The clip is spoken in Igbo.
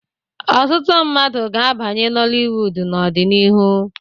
Ọtụtụ ndị mmadụ ga-abanye Noliwudu n'ọdịnihu.